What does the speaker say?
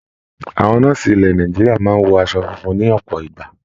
Àwọn nọ́ọ̀sì ilẹ̀ Nàìjíríà máa ń wọ aṣọ funfun ní ọ̀pọ̀ ìgbà.